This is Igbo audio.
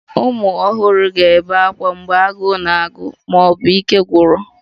Ụmụ ọhụrụ ga-ebe ákwá mgbe agụụ na-agụ ma ọ bụ ike gwụrụ